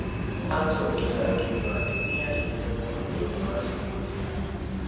Aacokire akiuga atĩ nĩ eeririre mũno nĩ ũndũ wa ciugo icio.